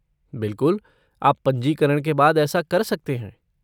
बिलकुल, आप पंजीकरण के बाद ऐसा कर सकते हैं।